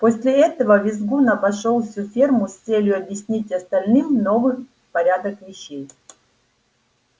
после этого визгун обошёл всю ферму с целью объяснить остальным новый порядок вещей